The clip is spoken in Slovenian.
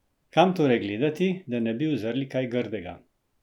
Kam torej gledati, da ne bi uzrli kaj grdega?